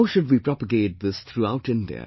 How should we propagate this throughout India